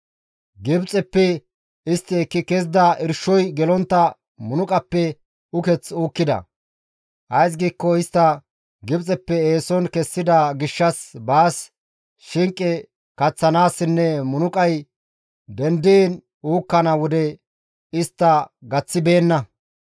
Gibxeppe istti ekki kezida irshoy gelontta munuqappe uketh uukkida; ays giikko istta Gibxeppe eeson kessida gishshas baas shinqe kaththanaassinne munuqay dendiin uukkana wode istta gaththibeenna.